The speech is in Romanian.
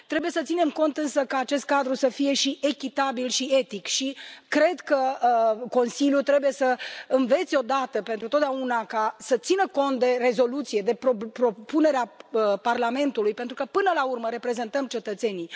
Trebuie să ținem cont însă ca acest cadru să fie și echitabil și etic și cred că Consiliul trebuie să învețe odată pentru totdeauna să țină cont de rezoluție, de propunerea Parlamentului, pentru că, până la urmă, reprezentăm cetățenii.